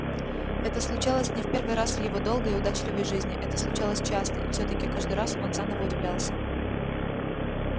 это случалось не в первый раз в его долгой и удачливой жизни это случалось часто и всё-таки каждый раз он заново удивлялся